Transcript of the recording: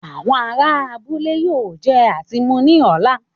Àwọn ará abúlé yóò jẹ àti mu ní ọ̀la